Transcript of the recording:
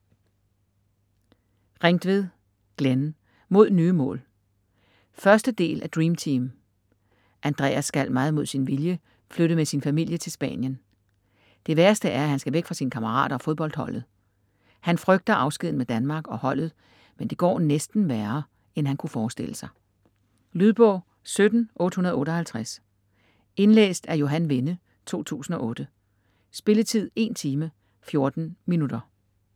Ringtved, Glenn: Mod nye mål 1. del af Dreamteam. Andreas skal meget mod sin vilje flytte med sin familie til Spanien. Det værste er at han skal væk fra sine kammerater og fodboldholdet. Han frygter afskeden med Danmark og holdet, men det går næsten værre end han kunne forestille sig. Lydbog 17858 Indlæst af Johan Vinde, 2008. Spilletid: 1 time, 14 minutter.